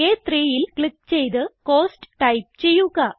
A3യിൽ click ചെയ്ത് cost type ചെയ്യുക